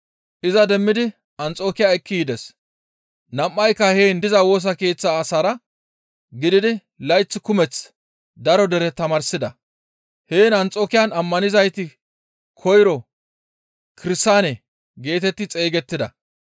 Iza demmidi Anxokiya ekki yides; nam7ayka heen diza Woosa Keeththa asaara gididi layth kumeth daro dere tamaarsida. Heen Anxokiyan ammanizayti koyro, «Kirsaane» geetetti xeygettida.